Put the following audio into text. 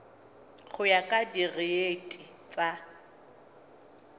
go ya ka direiti tsa